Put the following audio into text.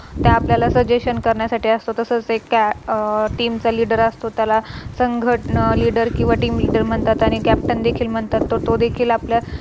ते आपल्याला Suggestion करण्यासाठी असतो. तसच एका Team चा Leader असतो त्याला संघ Leader किव्हा Team Leader म्हणतात आणि Captain देखील म्हणतात. तर तो देखील आपल्या